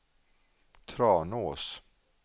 Tranås